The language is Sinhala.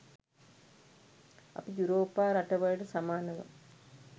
අපි යුරෝපා රටවලට සමානව